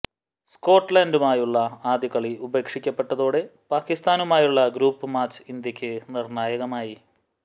സ്കോട്ട്ലാന്റുമായുള്ള ആദ്യ കളി ഉപേക്ഷിക്കപ്പെട്ടതോടെ പാകിസ്താനുമായുള്ള ഗ്രൂപ്പ് മാച്ച് ഇന്ത്യക്ക് നിർണായകമായി